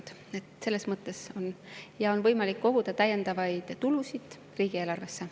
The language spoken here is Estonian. Ja on võimalik koguda täiendavaid tulusid riigieelarvesse.